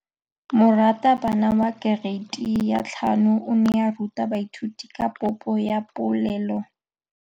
Moratabana wa kereiti ya 5 o ne a ruta baithuti ka popô ya polelô.